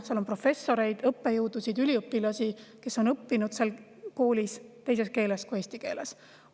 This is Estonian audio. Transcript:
Seal on professoreid, õppejõudusid, üliõpilasi, kes on õppinud seal koolis teises keeles kui eesti keeles.